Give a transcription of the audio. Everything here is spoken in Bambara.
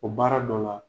O baara dɔ la